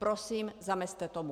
Prosím, zamezte tomu.